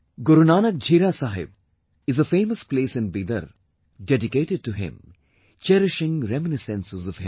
Gurunanak Jhira Sahib is a famous place in Bidar dedicated to him, cherishing reminiscences of him